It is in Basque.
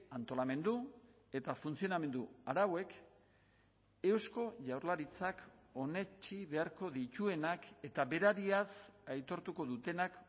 antolamendu eta funtzionamendu arauek eusko jaurlaritzak onetsi beharko dituenak eta berariaz aitortuko dutenak